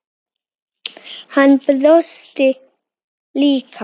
Hann brosti líka.